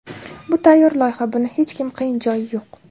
Bu tayyor loyiha, buning hech qiyin joyi yo‘q.